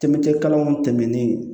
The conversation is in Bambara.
Tɛmɛcɛ kalanw tɛmɛnen